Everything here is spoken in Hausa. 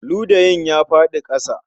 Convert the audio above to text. Ludayin ya faɗi a ƙasa